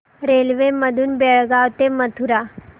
railway मधून बेळगाव ते मथुरा